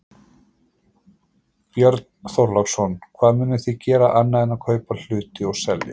Björn Þorláksson: Hvað munið þið gera annað en að kaupa hluti og selja?